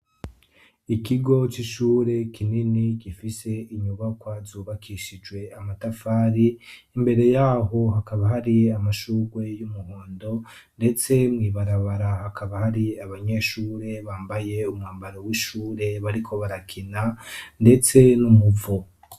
ikigo cy'ishure kinini gifise inyubakwa zubakishijwe amatafari imbere yaho hakaba hari amashurwe y'umuhondo ndetse mwibarabara hakaba hari abanyeshure bambaye umwambaro w'ishure bariko barakina ndetse n'umupfu